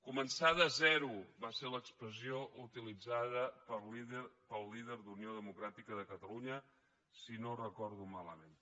començar de zero va ser l’expressió utilitzada pel líder d’unió democràtica de catalunya si no ho recordo malament